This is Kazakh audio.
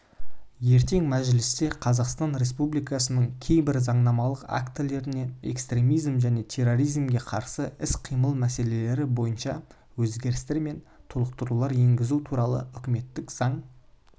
ертең мәжілісте қазақстан республикасының кейбір заңнамалық актілеріне экстремизмге және терроризмге қарсы іс-қимыл мәселелері бойынша өзгерістер мен толықтырулар енгізу туралы үкіметтік заң